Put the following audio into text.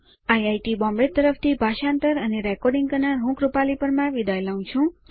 IIT Bombay તરફથી ભાષાંતર કરનાર હું કૃપાલી પરમાર વિદાય લઉં છું